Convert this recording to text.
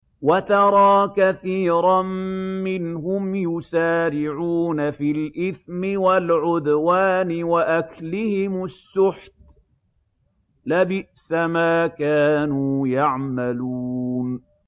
وَتَرَىٰ كَثِيرًا مِّنْهُمْ يُسَارِعُونَ فِي الْإِثْمِ وَالْعُدْوَانِ وَأَكْلِهِمُ السُّحْتَ ۚ لَبِئْسَ مَا كَانُوا يَعْمَلُونَ